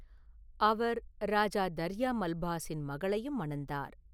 அவர் ராஜா தர்யா மல்பாஸின் மகளையும் மணந்தார்.